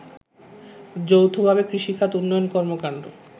যৌথভাবে কৃষিখাত উন্নয়ন কর্মকান্ড